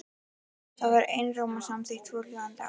Þar var einróma samþykkt svohljóðandi ályktun